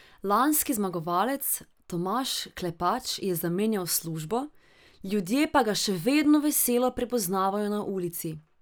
Lanski zmagovalec Tomaž Klepač je zamenjal službo, ljudje pa ga še vedno veselo prepoznavajo na ulici.